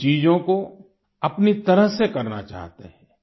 वे चीजों को अपनी तरह से करना चाहते हैं